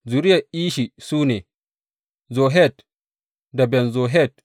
Zuriyar Ishi su ne, Zohet da Ben Zohet.